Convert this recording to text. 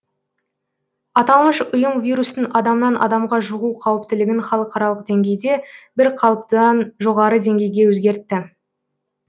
аталмыш ұйым вирустың адамнан адамға жұғу қауіптілігін халықаралық деңгейде бірқалыптыдан жоғары деңгейге өзгертті